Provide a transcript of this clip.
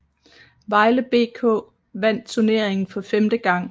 Vejle BK vandt turneringen for femte gang